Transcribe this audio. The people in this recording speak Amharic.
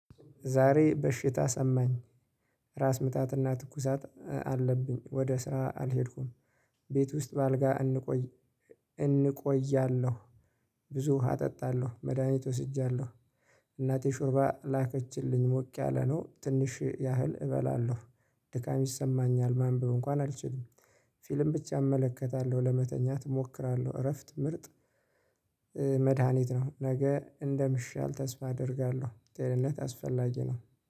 ዛሬ በሽታ ሰማኝ ራስ ምታትና ትኩሳት አለብኝ ወደ ስራ አልሄድኩም። ቤት ውስጥ በአልጋ እንቆያለሁ። ብዙ ውሃ እጠጣለሁ መድሃኒት ወስጃለሁ። እናቴ ሹርባ ላከችልኝ ሞቅ ያለ ነው ትንሽ ያህል እበላለሁ። ድካም ይሰማኛል ማንበብ እንኳን አልችልም። ፊልም ብቻ እመለከታለሁ ለመተኛት እሞክራለሁ እረፍት ምርጥ። መድሃኒት ነው። ነገ እንደምሻል ተስፋ አደርጋለሁ። ጤንነት አስፈላጊ ነው።